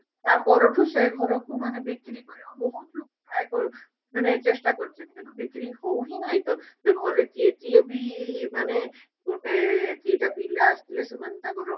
ତା ପରଠୁ ସେ ଘରକୁ ମାନେ ବିକ୍ରି କରିବାକୁ ବହୁତ ଲୋକ try କ ମାନେ ଚେଷ୍ଟା କରିଛନ୍ତି କିନ୍ତୁ ବିକ୍ରି ହଉହି ନାହିଁ ତ ସେ ଘରେ ଯିଏ ଯିଏ ବି ମାନେ ଗୋଟେ ଦିଟା ପିଲା ଆସିଥିଲେ ସେମାନେ ତାଙ୍କର